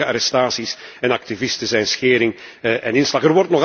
Willekeurige arrestaties van activisten zijn schering en inslag.